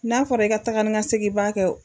N'a fɔra i ka taga ni ka segin ba kɛ